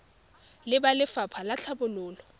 le ba lefapha la tlhabololo